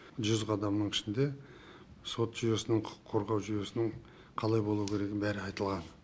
жүз қадамның ішінде сот жүйесінің құқық қорғау жүйесінің қалай болу керегінің бәрі айтылған